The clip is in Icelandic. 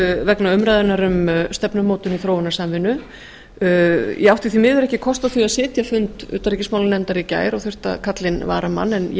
vegna umræðunnar um stefnumótun og þróunarsamvinnu ég átti því miður ekki kost á því að sitja fund utanríkismálanefndar í gær og þurfti að kalla inn varamann en ég